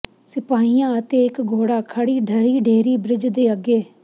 ਸਿਪਾਹੀਆਂ ਅਤੇ ਇਕ ਘੋੜਾ ਖੜੀ ਢਹਿ ਢੇਰੀ ਬ੍ਰਿਜ ਦੇ ਅੱਗੇ